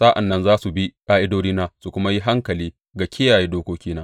Sa’an nan za su bi ƙa’idodina su kuma yi hankali ga kiyaye dokokina.